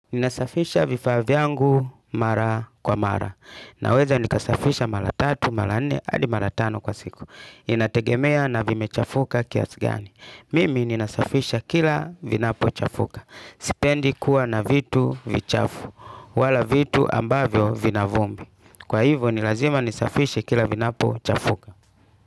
Ninasafisha vifaa vyangu mara kwa mara. Naweza nikasafisha mara tatu, mara nne, hadi mara tano kwa siku. Inategemea na vimechafuka kiasi gani. Mimi ninasafisha kila vinapo chafuka. Sipendi kuwa na vitu vichafu. Wala vitu ambavyo vina vumbi. Kwa hivyo ni lazima nisafishe kila vinapochafuka.